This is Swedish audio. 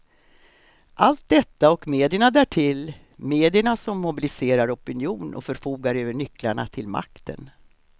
Allt detta och medierna därtill, medierna som mobiliserar opinion och förfogar över nycklarna till makten.